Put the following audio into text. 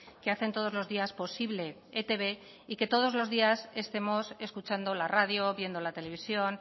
que hacen todos los días posible etb y que todos los días estemos escuchando la radio viendo la televisión